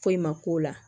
Foyi ma k'o la